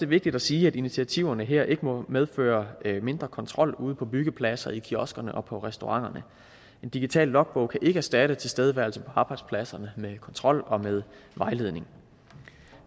vigtigt at sige at initiativerne her ikke må medføre mindre kontrol ude på byggepladserne i kioskerne og på restauranterne en digital logbog kan ikke erstatte tilstedeværelse på arbejdspladserne med kontrol og med vejledning